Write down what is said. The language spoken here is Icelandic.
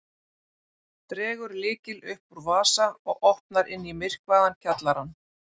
Dregur lykil upp úr vasa og opnar inn í myrkvaðan kjallarann.